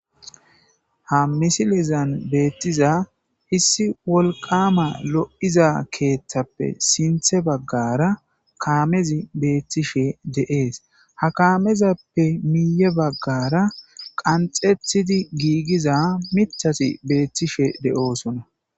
Ha misilezan beettiza hissi wolqama lo'iza keeththappe sinthe baggara kaamezi beettishe de'ees ha kaamezappe miiye baggara qanxethidi giigiza mithasi beettishe de'oosona.